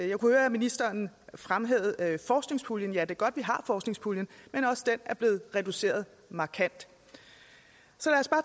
jeg kunne høre at ministeren fremhævede forskningspuljen ja det er godt vi har forskningspuljen men også den er blevet reduceret markant